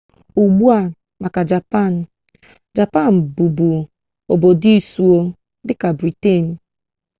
ugbua maka japan japan bụbu obodo isuo dịka briten